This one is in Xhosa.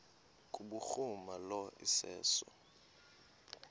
kubhuruma lo iseso